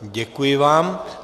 Děkuji vám.